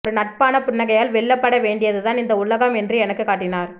ஒரு நட்பான புன்னகையால் வெல்லப்பட வேண்டியதுதான் இந்த உலகம் என்று எனக்குக் காட்டினார்